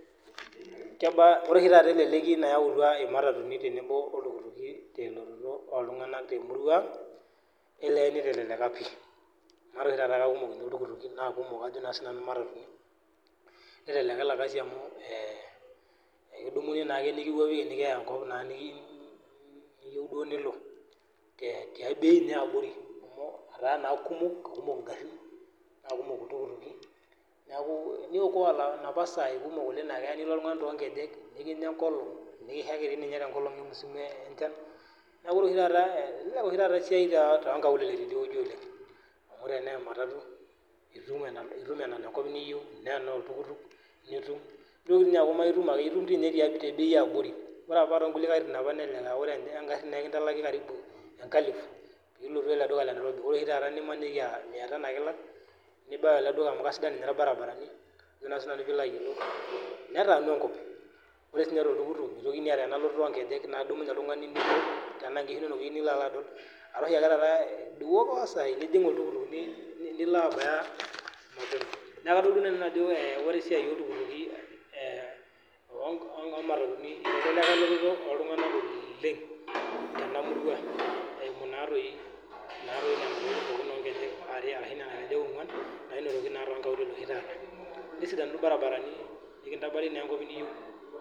Ore oshi taata teleleki nayawutua ematatuni oltukuutuki telototo oltung'ani te murua ang niteleleka ele Kasi amu ekidamu nikiyai ewueji niyieu duo nilo te bei yabori amu etaa naa kumok neeku kiokoa sahi napa naa keeta nilo oltung'ani too nkejek mikinyia enkolog nikishaki neeku etelelia oshi taata esiai too nkaulele amu tenaa ematatu tenaa oltukutuk nitum enikiya enkop niyieu neeku etum tee bei yabori amu emaniki ore apa naa ekitanyaliki enkalifu pee elotu ele duka lee Nairobi ore oshi taata mia Tano ake elak nibau ele duka amu kisidain ninye irbaribarani ore sininye too oltukutuk nimitokini ataa ena lolotoo nkejek tenaa enkishu enono eyieu nilo adol etaa oshi taata ewokoa sai nilo abaya neeku kajo nanu ore esiai oltukuutuki omatatuni nitelelia eletoto oltung'ana oleng Tena murua eyimu Nena tokitin oo nkejek are ashu eno nkejek ong'uan nesidanu irbaribarani nikintabari enkop niyieu